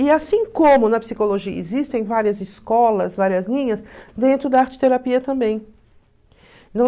E assim como na psicologia existem várias escolas, várias linhas, dentro da arte-terapia também.